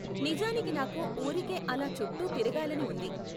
నిజానికి నాకు ఊరికే అలా చుట్టూ తిరగాలని ఉంది.